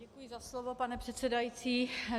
Děkuji za slovo, pane předsedající.